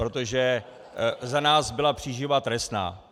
Protože za nás byla příživa trestná.